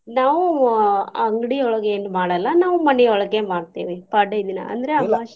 ನಾವ್ ಆಹ್ ಅಂಗಡಿಯೊಳಗೆ ಏನೂ ಮಾಡಲ್ಲಾ ನಾವ್ ಮನಿಯೊಳಗೆ ಮಾಡ್ತೇವಿ ಪಾಡ್ಯಾ ದಿನಾ ಅಂದ್ರ ಅಮಾಸಿ .